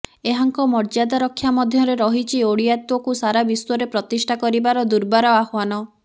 ଏହାଙ୍କ ମର୍ଯ୍ୟାଦା ରକ୍ଷା ମଧୢରେ ରହିଛି ଓଡ଼ିଆତ୍ବକୁ ସାରା ବିଶ୍ବରେ ପ୍ରତିଷ୍ଠା କରିବାର ଦୁର୍ବାର ଆହ୍ବାନ